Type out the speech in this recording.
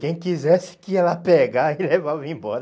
Quem quisesse que ia lá pegar e levava embora.